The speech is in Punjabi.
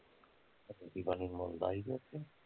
ਰੋਟੀ ਪਾਣੀ ਮੁਲ ਦਾ ਸੀ ਕਿ ਓਥੇ